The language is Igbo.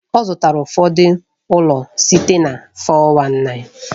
Ọ zụtara ụfọdụ ụlọ site na 419.